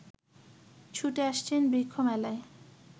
ছুটে আসছেন বৃক্ষ মেলায়